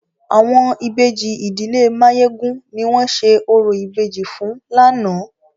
Àwọn Ìbejì ìdílé Máyégún ni wọ́n ṣe orò ìbejì fún lánàá.